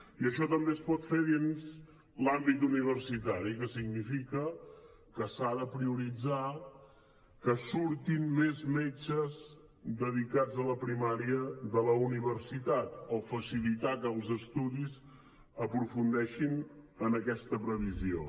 i això també es pot fer dins l’àmbit universitari que significa que s’ha de prioritzar que surtin més metges dedicats a la primària de la universitat o facilitar que els estudis aprofundeixin en aquesta previsió